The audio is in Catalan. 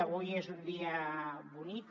avui és un dia bonic